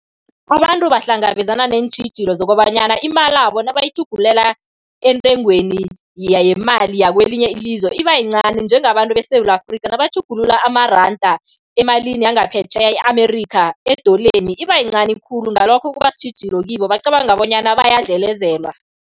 Abantu bahlangabezana neentjhijilo zokobanyana imalabo nabayitjhugululela entengweni yemali yakwelinye ilizwe, iba yincani. Njengabantu beSewula Afrika, nabatjhugulula amaranda emalini yangaphetjheya, e-America, edoleni, iba yincani khulu, ngalokho kuba sitjhijilo kibo. Bacabanga bonyana bayadlelezelwa.